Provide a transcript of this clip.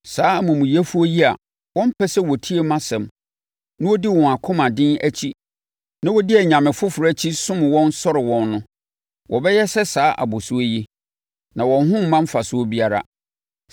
Saa amumuyɛfoɔ yi a wɔmpɛ sɛ wɔtie mʼasɛm na wɔdi wɔn akoma den akyi na wɔdi anyame foforɔ akyi som wɔn sɔre wɔn no, wɔbɛyɛ sɛ saa abɔsoɔ yi, na wɔn ho remma mfasoɔ biara!